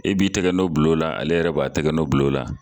E b'i tɛgɛ n'ɔ bil'o la ale yɛrɛ b'a tɛgɛ nɔ bil'o la